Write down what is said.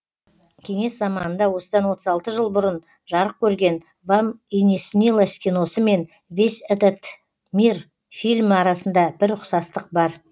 кеңес заманында осыдан отыз алты жыл бұрын жарық көрген вам и не снилось киносы мен весь этот мир фильмі арасында бір ұқсастық бар